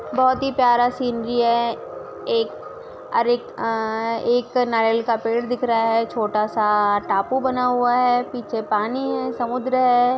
बहुत ही प्यारा सीनरी है एक अरेट अ-एक नारियल का पेड़ दिख रहा है छोटासा टापू बना हुआ है पीछे पानी है समुद्र है।